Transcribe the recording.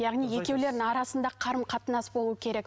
яғни екеулерінің арасында қарым қатынас болуы керек